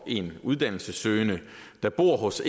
en uddannelsessøgende der bor hos